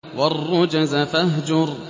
وَالرُّجْزَ فَاهْجُرْ